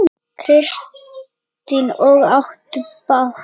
Kristín: Og áttu bát?